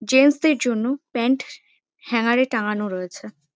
Gents -দের জন্য pant হ্যাঙ্গারে টাঙানো রয়েছে।